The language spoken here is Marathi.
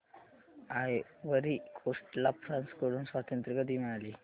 आयव्हरी कोस्ट ला फ्रांस कडून स्वातंत्र्य कधी मिळाले